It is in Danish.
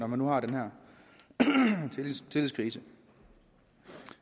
man nu har den her tillidskrise